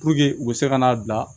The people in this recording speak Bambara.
u bɛ se ka n'a bila